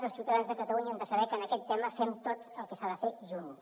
els ciutadans de catalunya han de saber que en aquest tema fem tot el que s’ha de fer junts